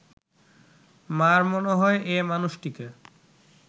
মা’র মনে হয়, এ মানুষটিকে